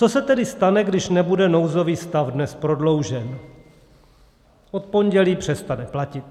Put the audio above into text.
Co se tedy stane, když nebude nouzový stav dnes prodloužen, od pondělí přestane platit?